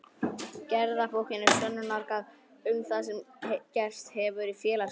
Gerðabókin er sönnunargagn um það sem gerst hefur í félagsmálum.